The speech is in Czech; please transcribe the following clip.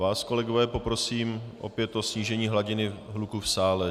Vás, kolegové, poprosím opět o snížení hladiny hluku v sále.